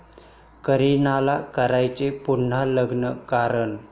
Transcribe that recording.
करिनाला करायचंय पुन्हा लग्न कारण...